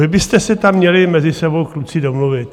Vy byste se tam měli mezi sebou, kluci, domluvit.